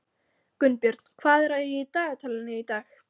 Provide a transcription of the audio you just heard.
Gunnbjörn, hvað er í dagatalinu í dag?